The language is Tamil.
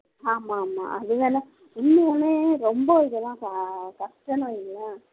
ஆமா ஆமா இன்னும் ஒன்னு ரொம்ப இதெல்லாம் கஷ்டம்னு வைங்களேன்